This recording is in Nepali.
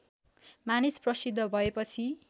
मानिस प्रसिद्ध भएपछि